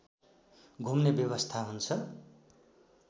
घुम्ने व्यवस्था हुन्छ